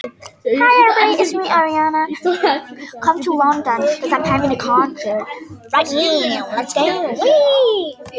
Hún hefur verið það.